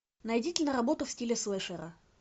найди киноработу в стиле слешера